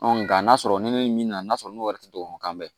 nka n'a sɔrɔ ni min na n'a sɔrɔ n'o yɛrɛ tɛ dɔgɔkunkan bɛɛ